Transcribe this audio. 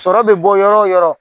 Sɔrɔ bɛ bɔ yɔrɔ o yɔrɔ